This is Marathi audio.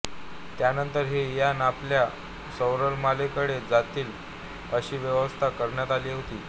त्यानंतर ही यानं आपल्या सौरमालेपलीकडे जातील अशी व्यवस्था करण्यात आली होती